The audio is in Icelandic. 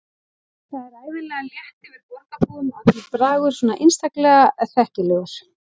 Það er ævinlega létt yfir borgarbúum og allur bragur svo einstaklega þekkilegur.